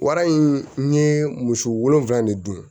Wara in n ye muso wolonwula de dun